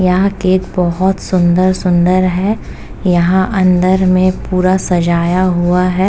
यहाँ केक बोहोत सुंदर-सुंदर है। यहाँ अंदर में पूरा सजाया हुआ है।